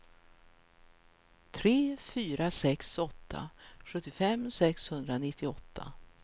tre fyra sex åtta sjuttiofem sexhundranittioåtta